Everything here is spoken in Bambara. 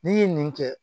N'i ye nin kɛ